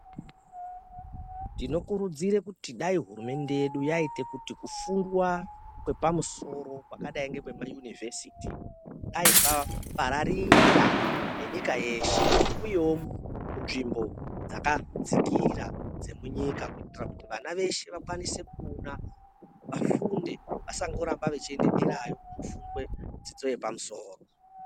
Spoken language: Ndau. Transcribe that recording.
Tinokurudzire kuti dai hurumende yedu yaite kuti kufundwa kwepamusoro kwakadai ngekwepaUniversiti dai kwapararira nenyika yeshe, kuuyewo munzvimbo dzakadzikira dzemunyika kuitira kuti vana veshe vakwanise kuonawo, vafunde vasangorambe veienda derayo kofunde dzidzo yepamusoro.